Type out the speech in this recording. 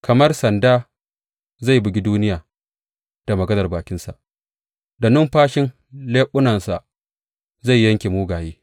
Kamar sanda zai bugi duniya da maganar bakinsa; da numfashin leɓunansa zai yanke mugaye.